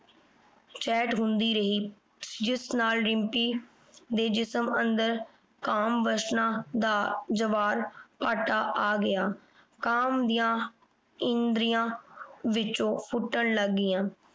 chat ਹੁੰਦੀ ਰਹੀ। ਜਿਸ ਨਾਲ ਰਿੰਪੀ ਦੇ ਜਿਸਮ ਅੰਦਰ ਕਾਮ ਵਾਸਨਾ ਦਾ ਜਵਾਹਭਾਟਾ ਆ ਗਿਆ। ਕਾਮ ਦੀਆਂ ਇੰਦਰੀਆਂ ਵਿਚੋਂ ਫੁੱਟਣ ਲੱਗ ਗਈਆਂ।